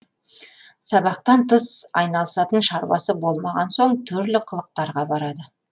сабақтан тыс айналысатын шаруасы болмаған соң түрлі қылықтарға барады